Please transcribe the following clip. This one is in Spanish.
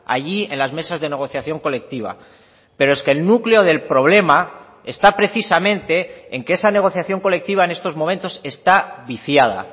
allí en las mesas de negociación colectiva pero es que el núcleo del problema está precisamente en que esa negociación colectiva en estos momentos está viciada